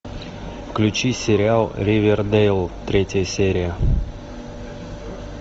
включи сериал ривердейл третья серия